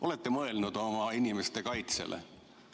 Olete te mõelnud oma inimeste kaitsele?